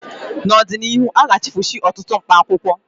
N'ọdịnihu, aga-echefusi ọtụtụ mkpaakwụkwọ